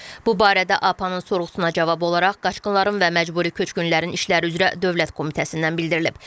Bu barədə APAnın sorğusuna cavab olaraq Qaçqınların və Məcburi Köçkünlərin İşləri üzrə Dövlət Komitəsindən bildirilib.